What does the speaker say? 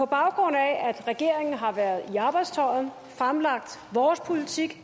baggrund af at regeringen har været i arbejdstøjet har fremlagt vores politik